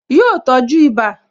Yọ tọ́jú ibà